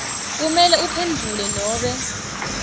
kumele uphendvule nobe